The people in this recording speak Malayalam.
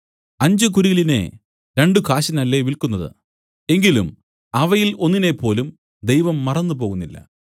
അഞ്ച് കുരികിലിനെ രണ്ടു കാശിനല്ലേ വില്ക്കുന്നത് എങ്കിലും അവയിൽ ഒന്നിനേപ്പോലും ദൈവം മറന്നുപോകുന്നില്ല